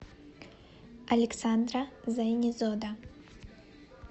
александра зайнезода